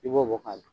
I b'o bɔ ka don